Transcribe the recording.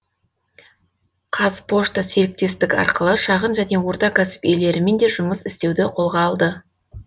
қазпошта серіктестік арқылы шағын және орта кәсіп иелерімен де жұмыс істеуді қолға алды